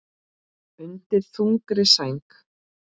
Undir þungri sæng